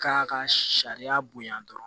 K'a ka sariya bonya dɔrɔn